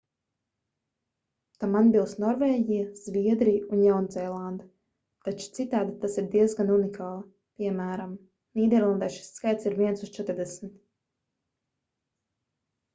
tam atbilst norvēģija zviedrija un jaunzēlande taču citādi tas ir diezgan unikāli piem. nīderlandē šis skaitlis ir viens uz četrdesmit